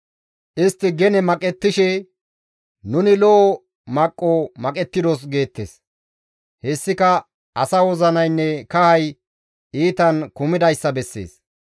Istti gene maqettishe, «Nuni lo7o maqqo maqettidos» geettes; hessika asa wozinaynne kahay iitan kumidayssa bessees.